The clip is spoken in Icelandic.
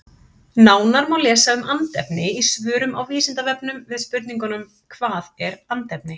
Nánar má lesa um andefni í svörum á Vísindavefnum við spurningunum Hvað er andefni?